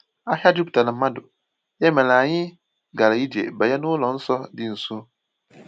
Ahịa juputara mmadụ, ya mere anyị gara ije banye n’ụlọ nsọ dị nso.